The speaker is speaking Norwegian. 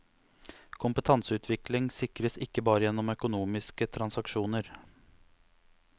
Kompetanseutvikling sikres ikke bare gjennom økonomiske transaksjoner.